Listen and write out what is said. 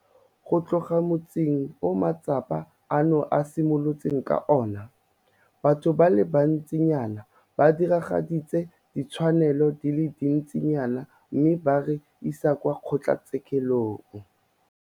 Go tloga motsing o matsapa ano a simolotseng ka ona, batho ba le bantsinyana ba diragaditse ditshwanelo di le dintsinyana mme ba re isa kwa kgotlatshekelo.